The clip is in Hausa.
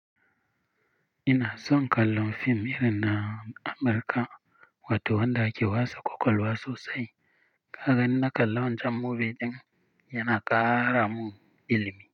Ina son kallon fim irin na Amurka wato wanda ake wasa ƙwaƙwalwa sosai. Kaga in na kalla wancan movie ɗin yana ƙara mun ilimi.